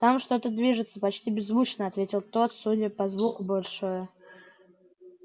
там что-то движется почти беззвучно ответил тот судя по звуку большое